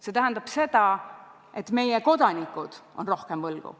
See tähendab seda, et meie kodanikud on rohkem võlgu.